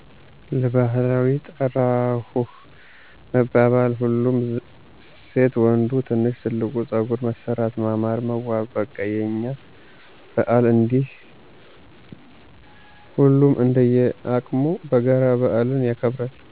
ለባዕል ጠራሁህ መባባል፣ ሁሉም ሴት ወንዱ ትልቅ ትንሹ ፀጉር መሠራት ማማር መዋብ በቃ የእኛ በዓል እንዲህ እያሉ ሁሉም እንደየቅሙ በጋራ በአልን ያከብራል።